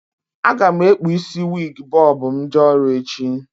A ga m ekpu isi wiig bọb m jee ọrụ echi